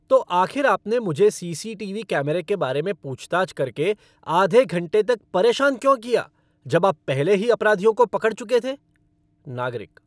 तो आखिर आपने मुझे सीसीटीवी कैमरे के बारे में पूछताछ करके आधे घंटे तक परेशान क्यों किया, जब आप पहले ही अपराधियों को पकड़ चुके थे? नागरिक